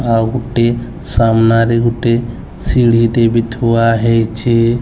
ଆଉ ଗୋଟେ ସାମ୍ନାରେ ଗୋଟେ ସିଡ଼ି ଟେ ବି ଥୁଆହେଇଛି।